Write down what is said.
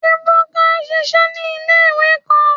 Ebuka ṣiṣẹ ni ile-iwe kan